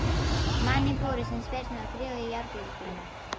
Mann í búri sem spyrnir og þrífur í járngrindurnar.